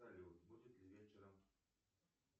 салют будет ли вечером